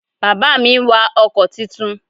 Bàbá mi n wa ọkò titun